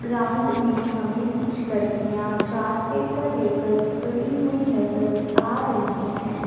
Ground में हमें कुछ लड़कियां चार्ट पेपर लेकर खड़ी हुई नजर आ रही है।